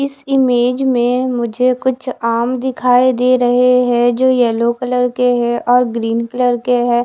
इस इमेज में मुझे कुछ आम दिखाई दे रहे हैं जो येलो कलर के है और ग्रीन कलर के है।